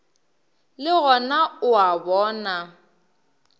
le gona o a bona